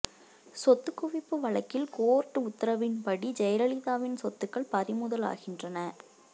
சொத்து குவிப்பு வழக்கில் கோர்ட்டு உத்தரவுப்படி ஜெயலலிதாவின் சொத்துகள் பறிமுதல் ஆகின்றன